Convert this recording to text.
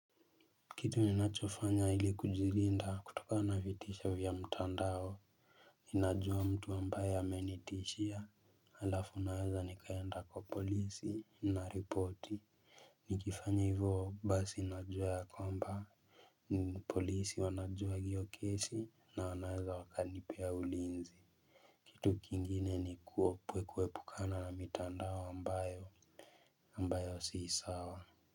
Kitu ninachofanya ili kujilinda kutokana na vitisho vya mtandao najua mtu ambaye amenitishia alafu naweza nikaenda kwa polisi na ripoti nikifanya hivo basi najua kwamba polisi wanajua hiyo kesi na wanaeza wakanipea ulinzi kitu kingine ni kuepukana na mitandao ambayo ambayo si sawa.